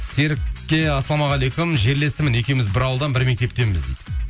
серікке ассалаумағалейкум жерлесімін екеуіміз бір ауылдан бір мектептенбіз дейді